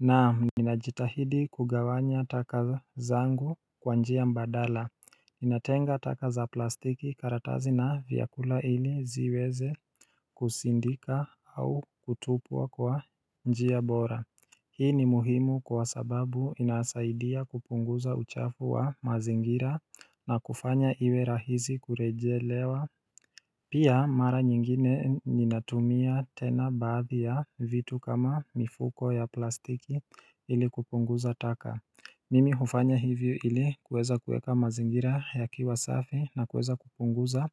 Na, ninajitahidi kugawanya takazangu kwa njia mbadala, ninatenga takaza plastiki karatazi na vyakula ili ziweze kusindika au kutupwa kwa njia bora Hii ni muhimu kwa sababu inasaidia kupunguza uchafu wa mazingira na kufanya iwe rahisi kurejelewa Pia mara nyingine ninatumia tena baadhi ya vitu kama mifuko ya plastiki ili kupunguza taka Mimi hufanya hivyo ili kueza kueka mazingira ya kiwa safi na kueza kupunguza